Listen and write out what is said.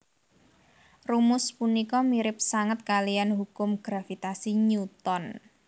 Rumus punika mirip sanget kaliyan hukum gravitasi Newton